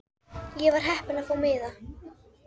Ég var heppin að fá miða.